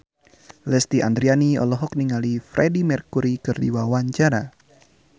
Lesti Andryani olohok ningali Freedie Mercury keur diwawancara